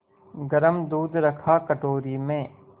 गरम दूध रखा कटोरी में